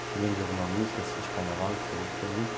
Você lembra de alguma música, assim, de carnaval que você gostou muito?